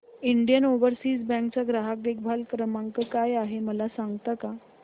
Indian Overseas Bank चा ग्राहक देखभाल नंबर काय आहे मला सांगता का